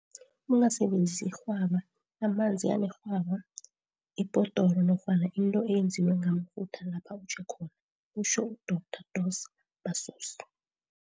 Ungasebenzisi irhwaba, amanzi anerhwaba, ibhodoro nofana into eyenziwe ngamafutha lapha utjhe khona, kutjho uDorh Dos Passos.